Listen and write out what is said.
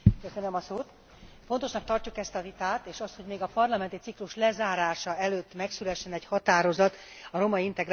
Fontosnak tartjuk ezt a vitát és azt, hogy még a parlamenti ciklus lezárása előtt megszülessen egy határozat a romaintegrációval kapcsolatban.